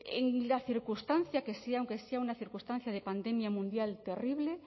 en la circunstancia que sea aunque sea una circunstancia de pandemia mundial terrible